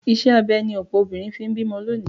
Ìṣe abẹ ni ọ̀pọ̀ obìnrin fi ń bímọ lónìí